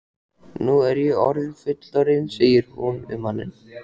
Nú er ég orðin fullorðin, segir hún við manninn.